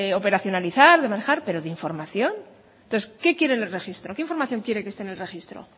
operacionalizar de manejar pero de información entonces qué quiere en el registro qué información quiere que esté en el registro